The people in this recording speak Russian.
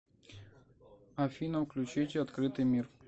афина включите открытый мир